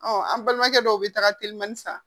an balimakɛ dɔw bɛ taaga teliman san